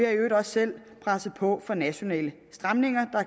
i øvrigt også selv presset på for nationale stramninger der